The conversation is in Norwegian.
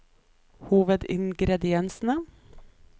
hovedingrediensene